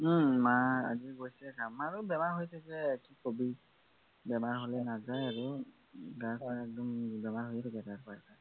ওম মা আজি গৈছে কাম মাৰো বেমাৰ হৈ থাকে কি কবি বেমাৰ হলে নাযায় আৰু গা-চা একদম বেমাৰ হৈৈয়ে থাকে এটাৰৰ পৰা এটা